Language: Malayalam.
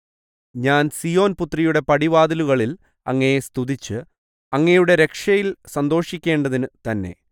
ഞാൻ സീയോൻപുത്രിയുടെ പടിവാതിലുകളിൽ അങ്ങയെ സ്തുതിച്ച് അങ്ങയുടെ രക്ഷയിൽ സന്തോഷിക്കേണ്ടതിനു തന്നെ